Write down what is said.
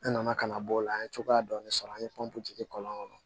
Ne nana ka na bɔ o la an ye cogoya dɔɔni sɔrɔ an ye pɔnpe kɔlɔn kɔnɔ